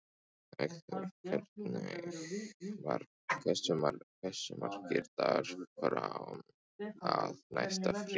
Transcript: Eggþór, hversu margir dagar fram að næsta fríi?